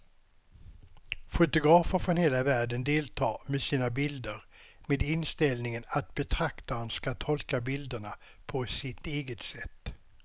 Fotografer från hela världen deltar med sina bilder med inställningen att betraktaren ska tolka bilderna på sitt eget sätt.